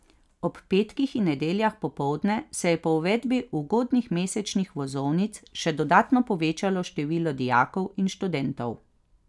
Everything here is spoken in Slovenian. Ob petkih in nedeljah popoldne se je po uvedbi ugodnih mesečnih vozovnic še dodatno povečalo število dijakov in študentov.